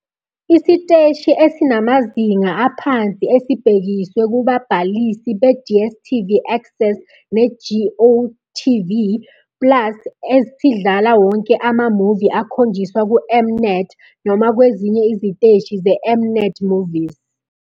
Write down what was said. Isiteshi esinamazinga aphansi esibhekiswe kubabhalisi be-DStv Access ne-GOtv Plus esidlala wonke ama-movie akhonjiswa kuM-Net noma kwezinye iziteshi ze-M-Net Movies.